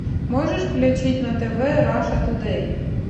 можешь включить на тв раша тудей